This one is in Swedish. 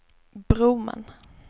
Broman